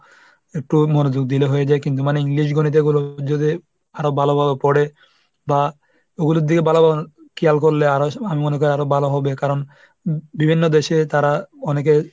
একটু মনোযোগ দিলেই হয়ে যায় কিন্তু মানে english, গণিত এগুলো যদি আরো ভালোভাবে পড়ে বা ওগুলোর দিকে ভালোভাবে care করলে আমি মনে করি আরো ভালো হবে। কারণ বিভিন্ন দেশে তারা অনেকে